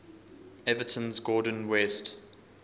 everton's gordon west